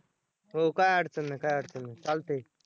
हो काय अडचण नाही, काय अडचण नाही चालतंय.